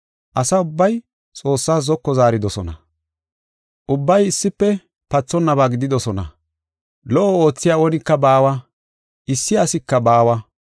Asa ubbay Xoossaas zoko zaaridosona; ubbay issife pathonnaba gididosona. Lo77o oothiya oonika baawa; issi asika baawa.